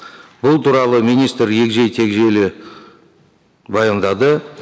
бұл туралы министр егжей тегжейлі баяндады